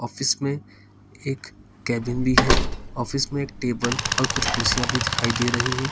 इसमें एक कैबिन भी है ऑफिस में एक टेबल और कुछ कुर्सियां भी दिखाई दे रही हैं।